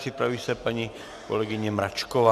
Připraví se paní kolegyně Mračková.